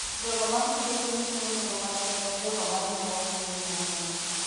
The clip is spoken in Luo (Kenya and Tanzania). jogo ma pidho gwen chiwo nengo makende ne jogo ma ng'iewo gwen mang'eny.